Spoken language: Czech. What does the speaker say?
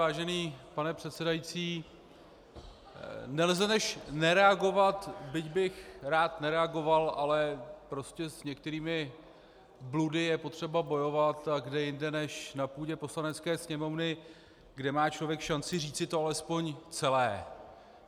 Vážený pane předsedající, nelze než nereagovat, byť bych rád nereagoval, ale prostě s některými bludy je potřeba bojovat, a kde jinde než na půdě Poslanecké sněmovny, kde má člověk šanci říci to alespoň celé.